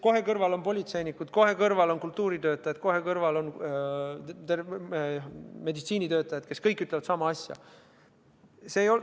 Kohe on kõrval politseinikud, kultuuritöötajad ja meditsiinitöötajad, kes kõik ütlevad sama.